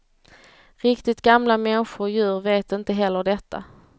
Riktigt gamla människor och djur vet inte heller detta.